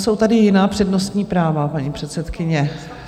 Jsou tady jiná přednostní práva, paní předsedkyně.